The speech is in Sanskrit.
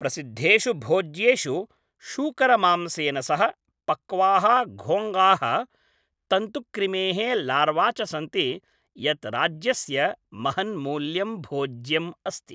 प्रसिद्धेषु भोज्येषु शूकरमांसेन सह पक्वाः घोङ्घाः, तन्तुक्रिमेः लार्वा च सन्ति, यत् राज्यस्य महन्मूल्यं भोज्यम् अस्ति।